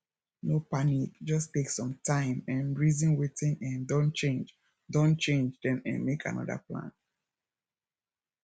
no panic just take some time um reason wetin um don change don change then um make anoda plan